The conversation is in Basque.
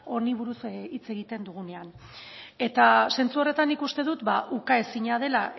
honi buruz hitz egiten dugunean eta zentzu horretan nik uste dut ba ukaezina dela